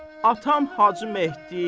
Atam Hacı Mehdi.